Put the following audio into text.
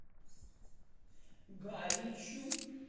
галичу